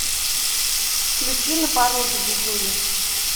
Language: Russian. включи на пороге дидюли